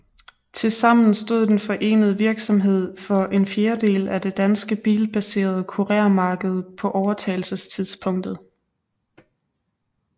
Tilsammen stod den forenede virksomhed for en fjerdedel af det danske bilbaserede kurermarked på overtagelsestidspunktet